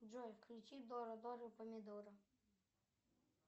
джой включи дора дора помидора